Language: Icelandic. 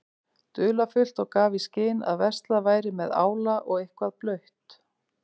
dularfullt og gaf í skyn að verslað væri með ála og eitthvað blautt.